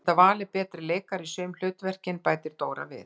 Þú hefðir getað valið betri leikara í sum hlutverkin, bætir Dóra við.